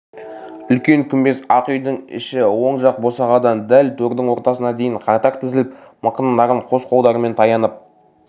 үлкен күмбез ақ үйдің іші оң жақ босағадан дәл төрдің ортасына дейін қатар тізіліп мықындарын қос қолдарымен таянып